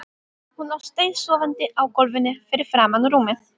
Hann lá steinsofandi á gólfinu fyrir framan rúmið.